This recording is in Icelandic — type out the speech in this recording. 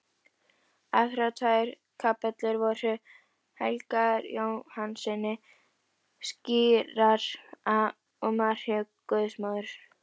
Aðrar tvær kapellur voru helgaðar Jóhannesi skírara og Maríu guðsmóður.